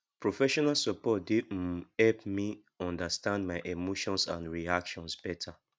professional support dey um help me understand my um emotions and reactions better